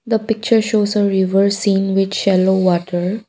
the picture shows a river seen with shallow water.